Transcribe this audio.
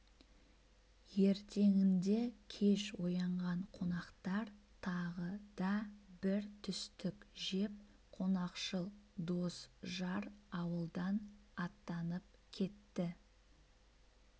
ертеңінде кеш оянған қонақтар тағы да бір түстік жеп қонақшыл дос-жар ауылдан аттанып кетті